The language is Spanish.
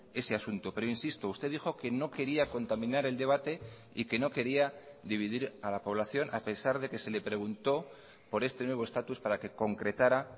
ese asunto pero insisto usted dijo que no quería contaminar el debate y que no quería dividir a la población a pesar de que se le preguntó por este nuevo estatus para que concretara